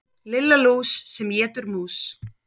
Lilla lús sem étur mús.